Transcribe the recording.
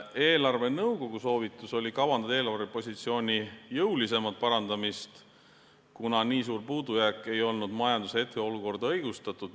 Eelarvenõukogu soovitus oli kavandada eelarvepositsiooni jõulisemat parandamist, kuna nii suur puudujääk ei olnud majanduse hetkeoludes õigustatud.